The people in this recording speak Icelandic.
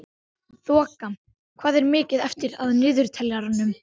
Þoka, hvað er mikið eftir af niðurteljaranum?